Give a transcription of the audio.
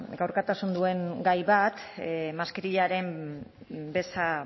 gaurkotasun duen gai bat maskarillaren beza